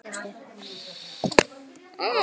Aldrei gefist upp.